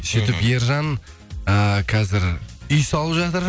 сөйтіп ержан эээ қазір үй салып жатыр